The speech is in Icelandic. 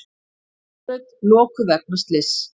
Miklabraut lokuð vegna slyss